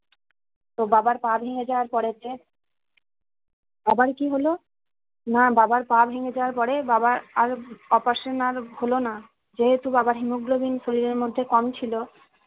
তো বাবার পা ভেঙে যাওয়ার পড়েতে আবার কি হলো না বাবার পা ভেঙে যাওয়ার পরে বাবার আর operation না হলোনা যেহেতু বাবার haemoglobin শরীরের মধ্যে কম ছিল